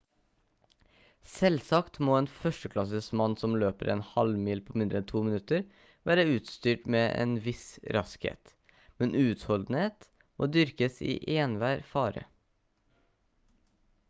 selvsagt må en førsteklasses mann som løper en halvmil på mindre enn 2 minutter være utstyrt med en viss raskhet men utholdenhet må dyrkes i enhver fare